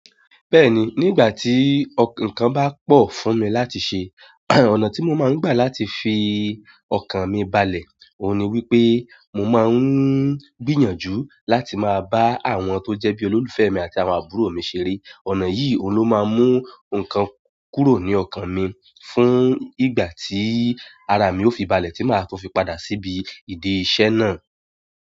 Bẹ́ẹ̀ni, nígbà tí nǹkan bá pọ̀ fún mi láti ṣe, ọ̀nà tí mo máa ń gbà láti fi ọkàn mi balẹ̀, òun ni wípé mo máa ń gbìyànjú láti máa bá àwọn tó jẹ́ bí olólùfẹ́ mi àti àwọn àbúrò mi ṣeré. Ọ̀nà yìí ló máa ń mú nǹkan kúrò ní ọkàn mi fún ìgbà tí ara mi ó fi balẹ̀ tí máa tun fi padà síbi ìdí iṣẹ́ náà.